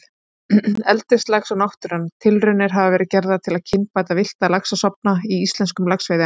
Eldislax og náttúran Tilraunir hafa verið gerðar til að kynbæta villta laxastofna í íslenskum laxveiðiám.